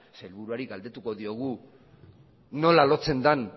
sailburuari galdetu diogu nola lotzen den